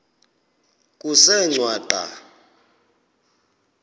kusengwaqa